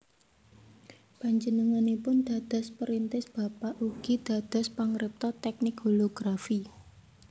Panjenenganipun dados perintis bapak ugi dados pangripta tèknik holografi